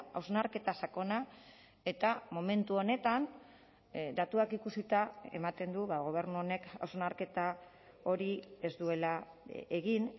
hausnarketa sakona eta momentu honetan datuak ikusita ematen du gobernu honek hausnarketa hori ez duela egin